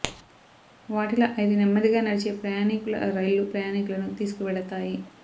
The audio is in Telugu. వాటిలో ఐదు నెమ్మదిగా నడిచే ప్రయాణీకుల రైళ్ళు ప్రయాణీకులను తీసుకు వెడతాయి